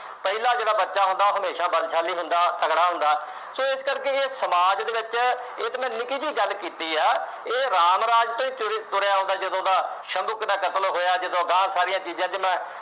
ਪਹਿਲਾ ਜਿਹੜਾ ਬੱਚਾ ਹੁੰਦਾ ਉਹ ਹਮੇਸ਼ਾ ਬਲਸ਼ਾਲੀ ਹੁੰਦਾ, ਤਕੜਾ ਹੁੰਦਾ, ਸੋ ਇਸ ਕਰਕੇ ਇਹ ਸਮਾਜ ਦੇ ਵਿੱਚ ਇਹ ਤਾਂ ਮੈਂ ਨਿੱਕੀ ਜਿਹੀ ਗੱਲ ਕੀਤੀ ਹੈ, ਇਹ ਰਾਮ ਰਾਜ ਤੋਂ ਤੁਰ ਤੁਰਿਆ ਆਉਂਦਾ ਜਦੋਂ ਦਾ ਸ਼ੰਭੁੱਕ ਦਾ ਕਤਲ ਹੋਇਆ ਜਦੋਂ ਅਗਾਂਹ ਸਾਰੀਆਂ ਚੀਜ਼ਾਂ ਚ ਮੈਂ